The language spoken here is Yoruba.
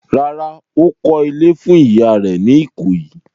Rárá, ó kọ́ ilé fún ìyá rẹ̀ ní Ìkòyí.